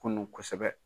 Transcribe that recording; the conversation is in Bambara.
Kunun kosɛbɛ